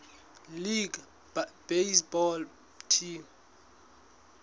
league baseball team